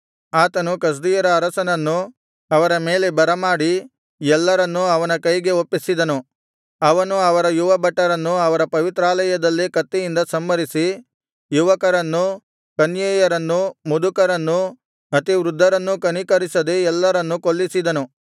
ಆತನು ಕಸ್ದೀಯರ ಅರಸನನ್ನು ಅವರ ಮೇಲೆ ಬರಮಾಡಿ ಎಲ್ಲರನ್ನೂ ಅವನ ಕೈಗೆ ಒಪ್ಪಿಸಿದನು ಅವನು ಅವರ ಯುವಭಟರನ್ನು ಅವರ ಪವಿತ್ರಾಲಯದಲ್ಲೇ ಕತ್ತಿಯಿಂದ ಸಂಹರಿಸಿ ಯುವಕರನ್ನೂ ಕನ್ಯೆಯರನ್ನೂ ಮುದುಕರನ್ನೂ ಅತಿವೃದ್ಧರನ್ನೂ ಕನಿಕರಿಸದೆ ಎಲ್ಲರನ್ನೂ ಕೊಲ್ಲಿಸಿದನು